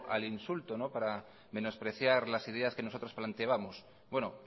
al insulto para menospreciar las ideas que nosotros planteábamos bueno